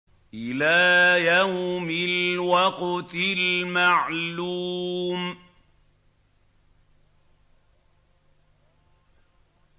إِلَىٰ يَوْمِ الْوَقْتِ الْمَعْلُومِ